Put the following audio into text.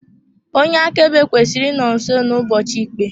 Onye akaebe kwesịrị ịnọ nso n'ụbọchị ikpe.